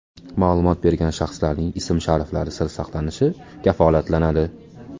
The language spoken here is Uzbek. Ma’lumot bergan shaxslarning ism-shariflari sir saqlanishi kafolatlanadi.